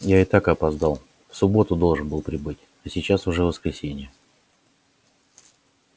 я и так опоздал в субботу должен был прибыть а сейчас уже воскресенье